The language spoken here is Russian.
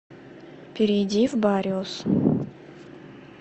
перейди в бариус